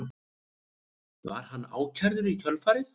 Var hann ákærður í kjölfarið